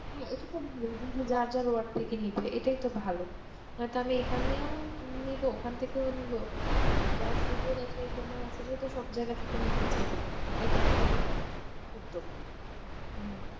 হাঁ ইটা খুব ভালো যার যার নিজেদের ওয়ার্ড থেকে নিবে এটাই তো ভালো তানাহলে আমি এখানেও নেবো ওখান থেকেও নেবো যার সুযোগ আছে সময় আছে সে তো সব জায়গা থেকে নিতে চাহিবে ইটা একটা ভালো উদ্যোগ